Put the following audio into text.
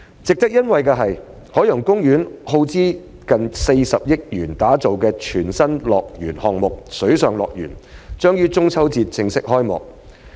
值得欣慰的是，海洋公園耗資逾40億元打造的全新樂園項目——水上樂園——將於中秋節正式開幕。